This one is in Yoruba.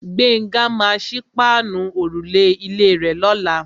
Gbénga maa sí páànù òrùlé ilé rè lọ́la.